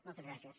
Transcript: moltes gràcies